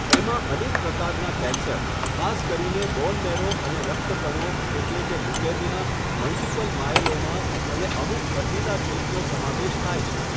એમાં અનેક પ્રકારના કેન્સર, ખાસ કરીને બોન મેરો અને રક્તકણો એટલે કે લ્યુકેમિયા, મલ્ટીપલ માયેલોમા, અને અમુક હઠીલા ચેપનો સમાવેશ થાય છે.